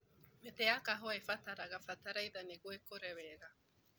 Mĩtĩ ya kahũa ĩbataraga bataraitha nĩguo ĩkũre wega.